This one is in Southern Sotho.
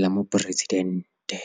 la Mopresi-dente.